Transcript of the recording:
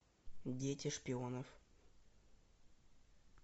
дети шпионов